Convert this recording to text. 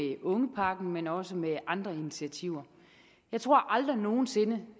ungepakken men også med andre initiativer jeg tror aldrig nogen sinde